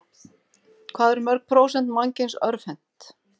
Hvað eru mörg prósent mannkyns örvhent?